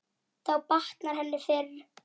Þá batnar henni fyrr.